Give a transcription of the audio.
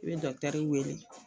I bɛ dɔkutɛri wele